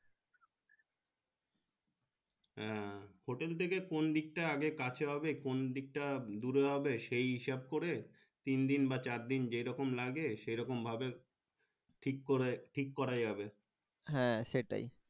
হ্যাঁ hotel থেকে কোন দিকটা আগে কাছে হবে কোন দিকটা দূরে হবে সেই হিসেবে করে তিনদিন বা চার দিন যে রকম লাগবে সেই রকম ভাবে ঠিককরে ঠিক করা যাবে হ্যাঁ সেটাই।